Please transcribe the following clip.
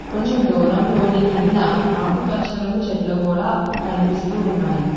కొంచం దూరంలోని కింద ఆకుపచ్చ రంగు చెట్లు కూడా కనిపిస్తు ఉన్నాయి.